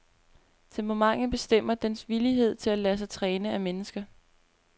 Temperamentet bestemmer dens villighed til at lade sig træne af mennesker.